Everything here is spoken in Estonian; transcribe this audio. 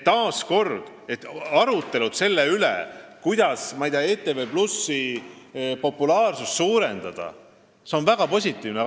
Taas kord arutletakse selle üle, kuidas ETV+ populaarsust suurendada, mis on väga positiivne.